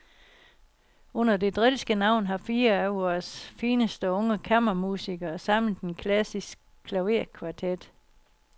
Under det drilske navn har fire af vores fineste unge kammermusikere samlet en klassisk klaverkvartet.